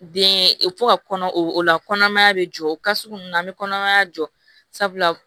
Den fo ka kɔnɔ o la kɔnɔmaya bɛ jɔ o ka sugu ninnu na an bɛ kɔnɔmaya jɔ sabula